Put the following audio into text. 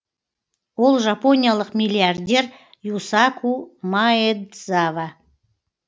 ол жапониялық миллиардер юсаку маэдзава